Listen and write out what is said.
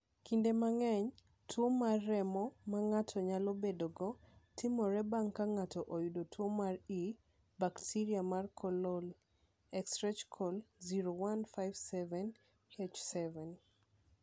Kinde mang’eny, tuwo mar remo ma ng’ato nyalo bedogo timore bang’ ka ng’ato oyudo tuwo mar E. bakteria mar coli (Escherichia koli 0157: H7).